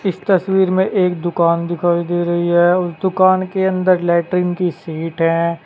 इस तस्वीर में एक दुकान दिखाई दे रही है उस दुकान के अंदर लैट्रिन की शीट है।